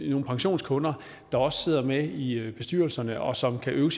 er nogle pensionskunder der også sidder med i i bestyrelserne og som kan øve